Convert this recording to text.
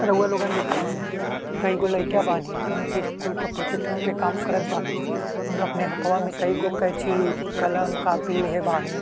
रउआ लोग देखत बानी कई गो लोग लइका बानी जॉन की स्कूल के प्रोजेक्ट पर काम करत बानी और अपना हाथवा में कई गो कैंची कलम कॉपी लेहे बानी।